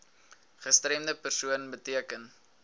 gestremde persoon beteken